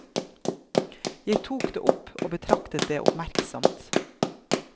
Jeg tok det opp og betraktet det oppmerksomt.